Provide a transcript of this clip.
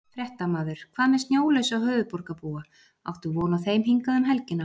Fréttamaður: Hvað með snjólausa höfuðborgarbúa, áttu von á þeim hingað um helgina?